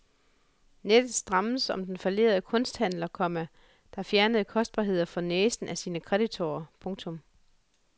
Nettet strammes om den fallerede kunsthandler, komma der fjernede kostbarheder for næsen af sine kreditorer. punktum